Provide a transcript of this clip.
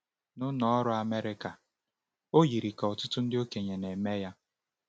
N’Ụlọ Ọrụ Amerịka, o yiri ka ọtụtụ ndị okenye na-eme ya.